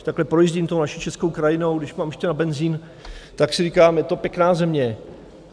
Když takhle projíždím tou naší českou krajinou, když mám ještě na benzín, tak si říkám, že to pěkná země.